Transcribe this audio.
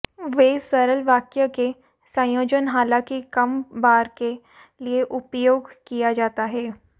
वे सरल वाक्य के संयोजन हालांकि कम बार के लिए उपयोग किया जाता है